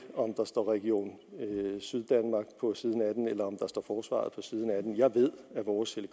om der står region syddanmark på siden af den eller om der står forsvaret på siden af den jeg ved at vores